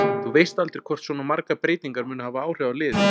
Þú veist aldrei hvort svona margar breytingar munu hafa áhrif á liðið.